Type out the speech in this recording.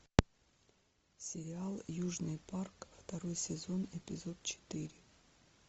сериал южный парк второй сезон эпизод четыре